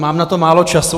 Mám na to málo času.